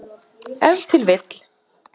Ef til vill!